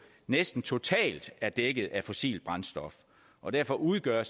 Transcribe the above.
næsten totalt er dækket af fossilt brændstof og derfor udgør